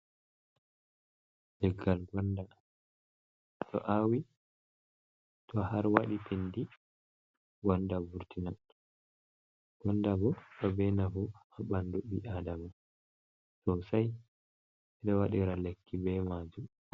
Leggal gonda. To a awi, to har waɗi pindi, gonda vurtinan. Gonda bo, ɗo be nafu haa ɓandu ɓii adama sosai. Ɓe ɗo waɗira lekki be maajum.